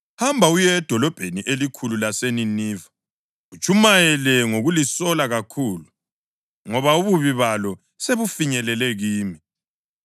“Hamba uye edolobheni elikhulu laseNiniva utshumayele ngokulisola kakhulu, ngoba ububi balo sebufinyelele kimi.”